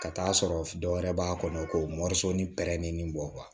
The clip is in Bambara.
Ka taa sɔrɔ dɔ wɛrɛ b'a kɔnɔ ko ni pɛrɛnnin bɔ